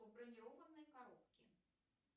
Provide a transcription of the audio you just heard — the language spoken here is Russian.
у бронированной коробки